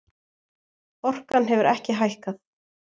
Orkan hefur ekki hækkað